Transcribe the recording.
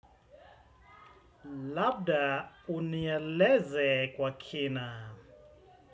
Labda unieleze kwa kina.